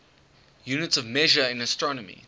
units of measure in astronomy